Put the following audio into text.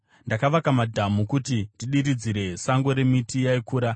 Ndakavaka madhamu kuti ndidiridzire sango remiti yaikura.